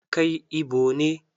Kai Igbo ne?